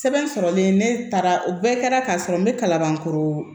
Sɛbɛn sɔrɔlen ne taara o bɛɛ kɛra ka sɔrɔ n bɛ kalabankoro